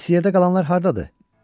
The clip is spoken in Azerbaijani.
bəs yerdə qalanlar hardadır?